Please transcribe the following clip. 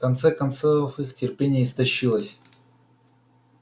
в конце концов их терпение истощилось